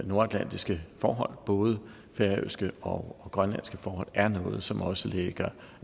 nordatlantiske forhold både færøske og grønlandske forhold er noget som også ligger